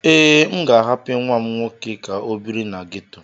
Ee, M ga-ahapụ nwa m nwoke ka ọ biri na geto.